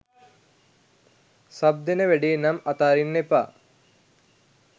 sub දෙන වැඩේ නම් අතාරින්න එපා